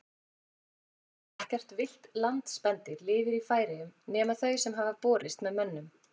Ekkert villt landspendýr lifir í Færeyjum nema þau sem hafa borist með mönnum.